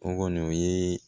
O kɔni o ye